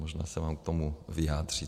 Možná se vám k tomu vyjádří.